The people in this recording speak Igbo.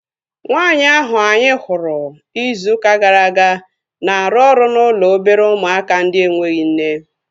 Nwaanyi ahu anyị hụrụ izu ụka gara aga na-arụ ọrụ n'ụlọ obere ụmụaka ndị enweghị nne